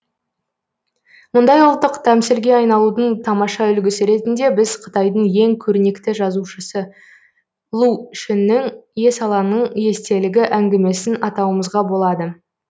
мұндай ұлттық тәмсілге айналудың тамаша үлгісі ретінде біз қытайдың ең көрнекті жазушысы лу шүннің есалаңның естелігі әңгімесін атауымызға болады